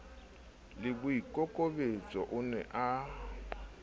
le boikokobetso o ne a